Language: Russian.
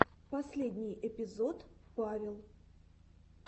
последний эпизод павел